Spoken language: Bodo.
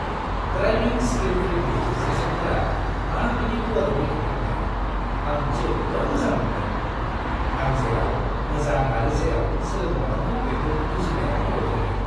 ड्राइभिं स्किल रिभिउ सेसनफोरा मा बायदि गुवारै बेखेवथारनाय, आं जोबोद मोजां मोनदों; आं जेराव मोजां आरो जेराव सोलोंबावनांगौ बेखौ बुजिनायाव मदद होदों।